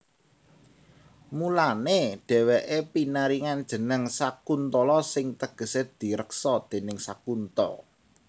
Mulané dhèwèké pinaringan jeneng Sakuntala sing tegesé direksa déning Sakunta